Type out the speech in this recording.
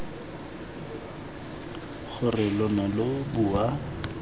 gore lo ne lo bua